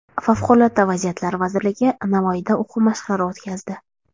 Favqulodda vaziyatlar vazirligi Navoiyda o‘quv mashqlari o‘tkazdi.